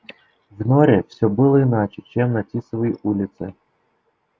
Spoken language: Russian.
в норе все было иначе чем на тисовой улице